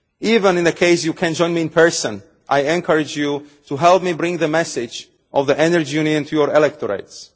Even in the event that you cannot join me in person, I encourage you to help me bring the message of the Energy Union to your electorates.